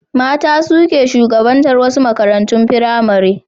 Mata su ke shugabatar wasu makarantun firamare.